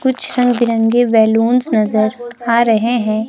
कुछ रंग बिरंगी बलूंस नजर आ रहे हैं।